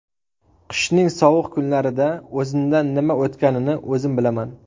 Qishning sovuq kunlarida o‘zimdan nima o‘tganini o‘zim bilaman.